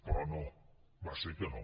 però no va ser que no